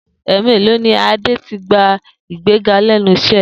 È̩è̩mélòó ni Adé ti gba ìgbéga lé̩nu is̩é̩ rè̩?